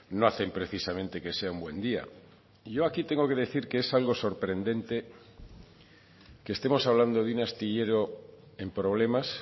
no hacen precisamente que sea un buen día y yo aquí tengo que decir que es algo sorprendente que estemos hablando de un astillero en problemas